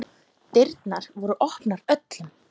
Dyrnar voru opnar öllum.